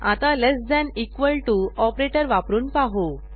आता less than equal to operator वापरून पाहू